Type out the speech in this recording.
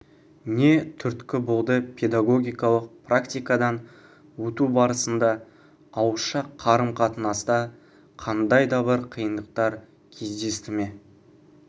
не түрткі болды педагогикалық практикадан өту барысында ауызша қарым-қатынаста қандай да бір қиындықтар кездесті ме